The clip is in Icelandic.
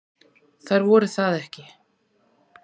Þær voru það ekki.